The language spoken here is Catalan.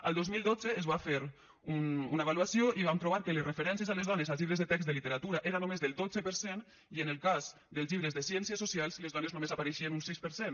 el dos mil dotze es va fer una avaluació i van trobar que les referències a les dones als llibres de text de literatura era només del dotze per cent i en el cas dels llibres de ciències socials les dones només hi apareixien un sis per cent